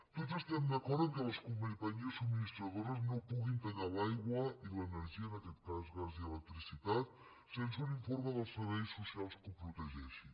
tots estem d’acord que les companyies subministradores no puguin tallar l’aigua i l’energia en aquest cas gas i electricitat sense un informe dels serveis socials que ho protegeixi